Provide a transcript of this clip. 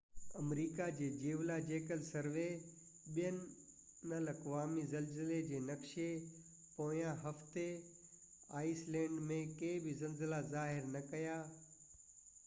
آمريڪا جي geological survey بين الاقوامي زلزلي جي نقشي پوئين هفتي آئيس لينڊ ۾ ڪي بہ زلزلا ظاهر نہ ڪيا